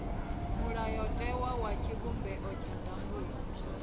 mulayotewa wa tshivhumbeo tsha ndangulo